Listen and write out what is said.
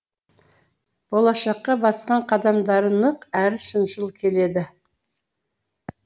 болашаққа басқан қадамдары нық әрі шыншыл келеді